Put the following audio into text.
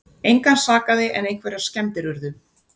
Engan sakaði en einhverjar skemmdir urðu